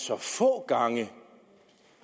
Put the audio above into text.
så få gange